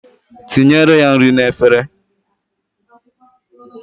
Tinyere ya nri n'efere.